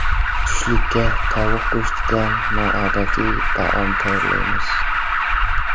Tushlikka tovuq go‘shtidan noodatiy taom tayyorlaymiz.